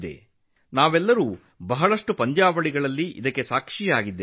ಅನೇಕ ಕ್ರೀಡಾಕೂಟಗಳಲ್ಲಿ ನಾವೆಲ್ಲರೂ ಇದಕ್ಕೆ ಸಾಕ್ಷಿಯಾಗಿದ್ದೇವೆ